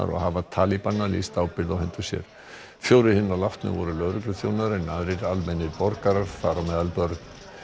og hafa lýst ábyrgð á hendur sér fjórir hinna látnu voru lögregluþjónar en aðrir almennir borgarar þar á meðal börn